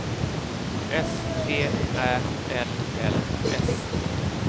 S T Ä L L S